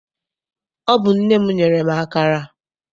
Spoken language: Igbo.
Ọ bụ nne m nyere m akara.